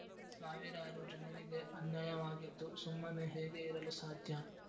ಸಾವಿರಾರು ಜನರಿಗೆ ಅನ್ಯಾಯವಾಗಿದ್ದು ಸುಮ್ಮನೆ ಹೇಗೆ ಇರಲು ಸಾಧ್ಯ